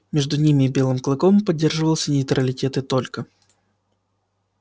между ними и белым клыком поддерживался нейтралитет и только